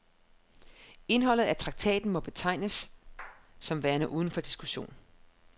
Indholdet af traktaten må betragtes som værende uden for diskussion.